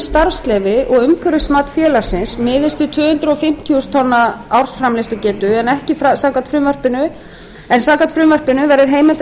starfsleyfi og umhverfismat félagsins miðast við tvö hundruð fimmtíu þúsund tonna ársframleiðslugetu en samkvæmt frumvarpinu verður heimilt að